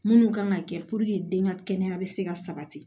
Minnu kan ka kɛ den ka kɛnɛya bɛ se ka sabati